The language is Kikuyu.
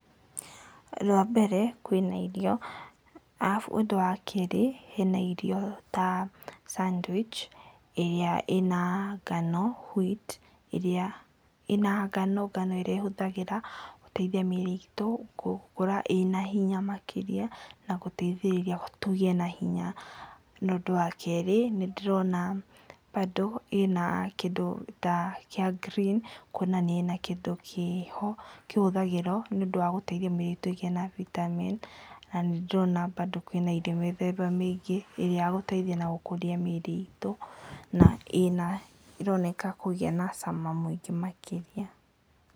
Rwa mbere, kwĩna irio. Arabu ũndũ wa kerĩ, hena irio ta, sandwich, ĩrĩa ĩna ngano, wheat, ĩrĩa ĩna ngano ĩrĩa ĩhũthagĩra gũteithia mĩĩrĩ itũ gũkũra ĩna hinya makĩria, na gũteithĩrĩria tũgĩe na hinya. Na ũndũ wa kerĩ, nĩ ndĩrona bandũ ĩna kĩndũ kĩa green kwonania hena kĩndũ kĩho kĩhũthagĩrwo nĩ ũndũ wa gũteithia mĩrĩ itũ kũgĩa na vitamins, na nĩ ndĩrona bandũ kwĩna irio mĩthemba mĩingĩ, ĩrĩa yagũteithia na gũkũria mĩĩrĩ itũ, na ĩroneka kũgĩa na cama mũingĩ makĩria.